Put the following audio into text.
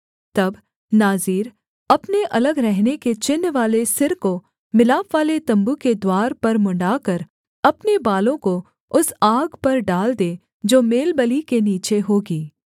तब नाज़ीर अपने अलग रहने के चिन्हवाले सिर को मिलापवाले तम्बू के द्वार पर मुँण्ड़ाकर अपने बालों को उस आग पर डाल दे जो मेलबलि के नीचे होगी